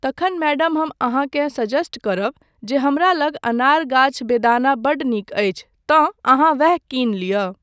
तखन मैडम हम अहाँकेँ सजेस्ट करब जे हमरा लग अनार गाछ बेदाना बड्ड नीक अछि तँ अहाँ वैह किनी लिअ।